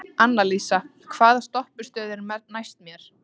Annalísa, hvaða stoppistöð er næst mér?